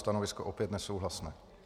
Stanovisko opět nesouhlasné.